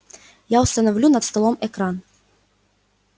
я установлю над столом экран